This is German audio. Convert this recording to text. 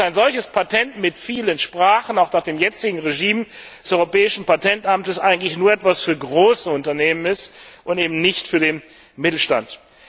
Ein solches Patent mit vielen Sprachen ist nach dem jetzigen Regime des Europäischen Patentamts eigentlich nur etwas für große Unternehmen und eben nicht für den Mittelstand.